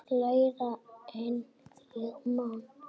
Lægra en ég man.